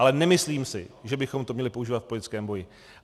Ale nemyslím si, že bychom to měli používat v politickém boji.